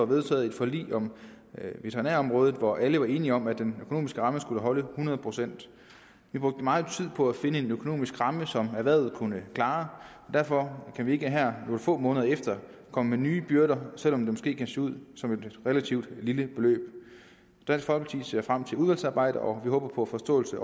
vedtaget et forlig på veterinærområdet hvor alle var enige om at den økonomiske ramme skulle holde hundrede procent vi brugte meget tid på at finde en økonomisk ramme som erhvervet kunne klare derfor kan vi ikke her nogle få måneder efter komme med nye byrder selv om det måske kan se ud som et relativt lille beløb dansk folkeparti ser frem til udvalgsarbejdet og vi håber på forståelse